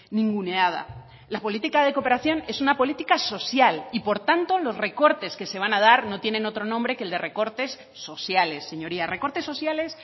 ninguneada la política de cooperación es una política social y por tanto los recortes que se van a dar no tienen otro nombre que el de recortes sociales señorías recortes sociales